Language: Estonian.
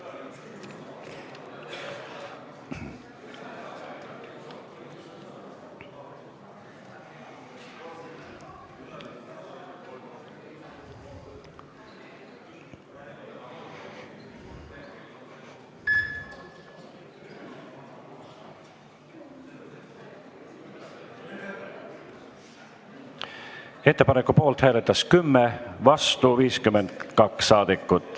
Hääletustulemused Ettepaneku poolt hääletas 10 ja vastu 52 saadikut.